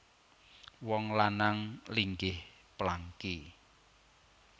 Wong lanang linggih plangki